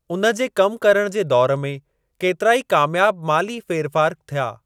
उन जे कम करण जे दौर में केतिरा ई कामयाब माली फेरफार थिया।